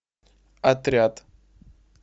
отряд